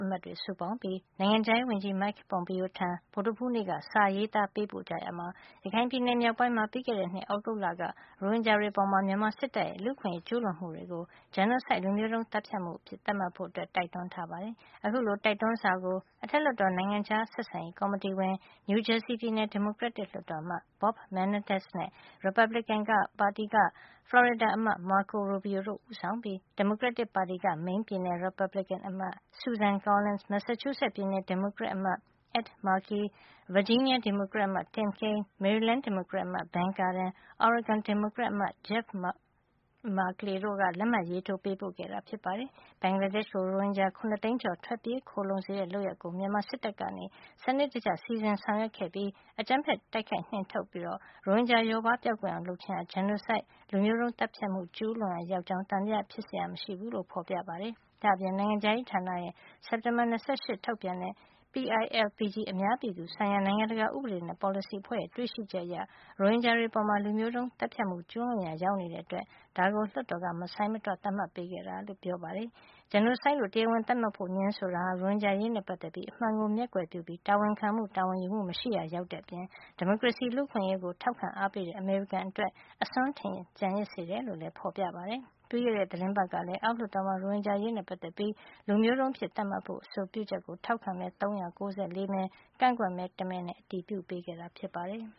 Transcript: အမတ်တွေ စုပေါင်းပြီး နိုင်ငံခြားရေး ဝန်ကြီး Mike Pompeo ထံ ဗုဒ္ဓဟူး နေ့က စာရေးသား ပေးပို့ရာမှာ ရခိုင်ပြည်နယ် မြောက်ပိုင်းမှာ ပြီးခဲ့တဲ့ နှစ် သြဂုတ်လက ရိုဟင်ဂျာတွေ အပေါ် မြန်မာစစ်တပ်ရဲ့ လူ့အခွင့်ရေး ကျူးလွန်မှုကို genocide လူမျိုးတုန်း သတ်ဖြတ်မှု အဖြစ်သတ်မှတ်ဖို့ တိုက်တွန်းထားပါတယ်။ အခုလို တိုက်တွန်းစာကို အထက်လွှတ်တော် နိုင်ငံခြား ဆက်ဆံရေး ကော်မတီဝင် နယူးဂျာစီပြည်နယ် ဒီမိုကရက်လွှတ်တော်အမတ် Bob Menendez နဲ့ ရီပတ်ဘလစ်ကင်ပါတီက ဖလော်ရီဒါအမတ် Marco Robio တို့ ဦးဆောင်ပြီး၊ ဒီမိုကရက်တစ်ပါတီက မိန်းပြည်နယ် ရီပတ်ဘလစ်ကင်အမတ် Susan Collins ၊ မက်ဆာချူးဆက်ပြည်နယ် ဒီမိုကရက်အမတ် Ed Markey ဗာဂျီးနီးယား ဒီမိုကရက်အမတ် Tim Kaine မေရီလန်းက ဒီမိုကရက်အမတ် Ben Cardin၊ အော်ရီဂွန်က ဒီမိုကရက်အမတ် Jeff Merkley တို့ က လက်မှတ်ရေးထိုးကြတာ ဖြစ်ပါတယ်။ ဘင်္ဂလားဒေ့ရှ်ကို ရိုဟင်ဂျာ ၇ သိန်းကျော် ထွက်ပြေးခိုလှုံ စေတဲ့ လုပ်ရပ်ကို မြန်မာစစ်တပ်က စံနစ်တကျ စီစဉ် ဆောင်ရွက်ခဲ့ပြီး အကြမ်းဖက် တိုက်ခိုက် နှင်ထုတ်ခါ ရိုဟင်ဂျာလျှော့ပါးကွယ်ပျောက် အောင် လုပ်ခြင်းဟာ genocide လူမျိုးတုန်း သတ်ဖြတ်မှု ကျူးလွန်ရာရောက်ကြောင်း သံသယဖြစ်စရာ မရှိဘူးလို့ ဖေါ်ပြထားပါတယ်။ ဒါ့အပြင် နိုင်ငံခြားရေးဌာနရဲ့ စက်တင်ဘာလ ၂၈ က ထုတ်ပြန်ခဲ့တဲ့ PILPG အများ ပြည်သူဆိုင်ရာ နိုင်ငံတကာ ဥပဒေနဲ့ ပေါ်စလီ အဖွဲ့ရဲ့ တွေ့ရှိချက်အရ ရိုဟင်ဂျာတွေအပေါ် လူမျိုးတုန်း သတ်ဖြတ်မှု ကျူးလွန်ရာ ရောက်တဲ့အတွက် ဒါကို လွှတ်တော်က မဆိုင်းမတွ သတ်မှတ်ပေးခဲ့တာ ဖြစ်ပါတယ်။ genocide လို့ တရားဝင် သတ်မှတ်ဖို့ ငြင်းဆိုခြင်းဟာ ရိုဟင်ဂျာ အရေးနဲ့ ပတ်သက်ပြီး အမှန်ကို မျက်ကွယ်ပြုပြီး တာဝန်ခံမှု တာဝန်ယူမှု မရှိရာ ရောက်တဲ့အပြင် ဒီမိုကရေစီ လူ့အခွင့်ရေးကို ထောက်ခံအားပေးတဲ့ အမေရိကန်အတွက် အစွန်းထင် ကျန်ရစ်စေတယ် လို့လည်း ဖေါ်ပြထားပါတယ်။ ပြီးခဲ့တဲ့ သီတင်းပတ်ကလည်း အောက်လွှတ်တော်မှာ ရိုဟင်ဂျာအရေးနဲ့ ပတ်သက်ပြီး လူမျိုးတုန်းအဖြစ် သတ်မှတ်ဖို့ အဆိုပြုချက်ကို ထောက်ခံမဲ ၃၉၄ မဲ ကန့်ကွက်မဲ တမဲနဲ့ အတည်ပြုခဲ့တာ ဖြစ်ပါတယ်။